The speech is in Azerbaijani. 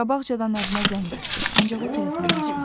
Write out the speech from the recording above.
Qabaqcadan ərinə zəng etdi, ancaq o telefonu açmadı.